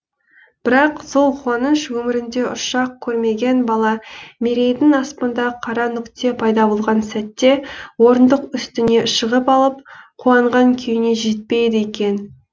бірақ сол қуаныш өмірінде ұшақ көрмеген бала мерейдің аспанда қара нүкте пайда болған сәтте орындық үстіне шығып алып қуанған күйіне жетпейді екен